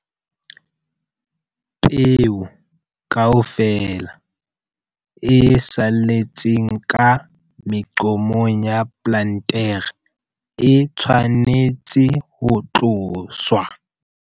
Peo kaofela e saletseng ka meqomong ya plantere e tshwanetse ho tloswa.